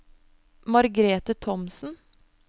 Margrete Thomsen